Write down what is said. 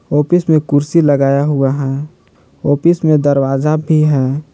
Office में कुर्सी लगाया हुआ है ऑफिस में दरवाजा भी है।